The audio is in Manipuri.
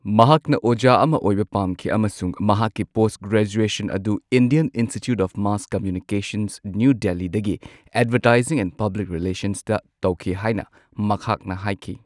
ꯃꯍꯥꯛꯅ ꯑꯣꯖꯥ ꯑꯃ ꯑꯣꯏꯕ ꯄꯥꯝꯈꯤ ꯑꯃꯁꯨꯡ ꯃꯍꯥꯛꯀꯤ ꯄꯣꯁꯠ ꯒ꯭ꯔꯦꯖꯨꯑꯦꯁꯟ ꯑꯗꯨ Indian Institute of Mass Communication, new ꯗꯤꯜꯂꯤꯗꯒꯤ ꯑꯦꯗꯚꯔꯇꯥꯏꯖꯤꯡ ꯑꯦꯟꯗ ꯄꯕ꯭ꯂꯤꯛ ꯔꯤꯂꯦꯁꯟꯁꯇ ꯇꯧꯈꯤ ꯍꯥꯏꯅ ꯃꯍꯥꯛꯅ ꯍꯥꯏꯈꯤ꯫